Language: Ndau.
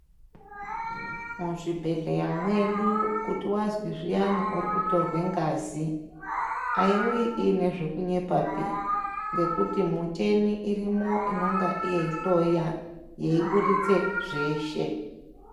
Muzvibhedhleya mwedu kuti wazwi zviyani urikutorwe ngazi aiuyi inezvekunyepa pi ngekuti muteni irimo inonga yeihloya yeibuditse zveshe